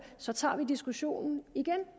så tager vi diskussionen igen